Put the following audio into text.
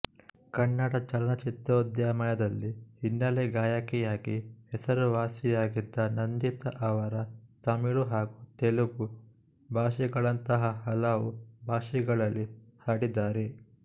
ಕನ್ನಡ ಚಲನಚಿತ್ರೋದ್ಯಮದಲ್ಲಿ ಹಿನ್ನೆಲೆ ಗಾಯಕಿಯಾಗಿ ಹೆಸರುವಾಸಿಯಾಗಿದ್ದ ನಂದಿತಾ ಅವರ ತಮಿಳು ಹಾಗೂ ತೆಲುಗು ಭಾಷೆಗಳಂತಹ ಹಲವು ಭಾಷೆಗಳಲ್ಲಿ ಹಾಡಿದ್ದಾರೆ